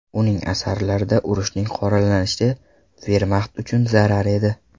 Uning asarlarida urushning qoralanishi Vermaxt uchun zarar edi.